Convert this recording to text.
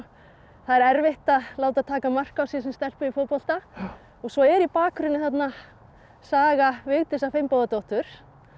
það er erfitt að láta taka mark á sér sem stelpu í fótbolta svo er í bakgrunni þarna Saga Vigdísar Finnbogadóttur